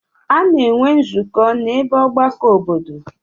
A na-enwe nzukọ n'ebe ọgbakọ obodo.